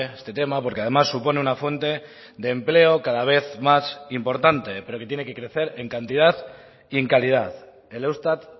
este tema porque además supone una fuente de empleo cada vez más importante pero que tiene que crecer en cantidad y en calidad el eustat